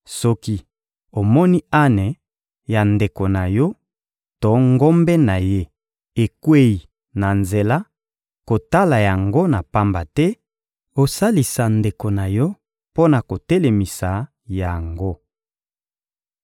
Soki omoni ane ya ndeko na yo to ngombe na ye ekweyi na nzela, kotala yango na pamba te; osalisa ndeko na yo mpo na kotelemisa yango.